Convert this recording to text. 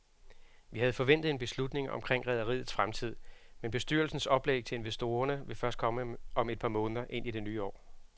Vi havde forventet en beslutning omkring rederiets fremtid, men bestyrelsens oplæg til investorerne vil først komme et par måneder ind i det nye år.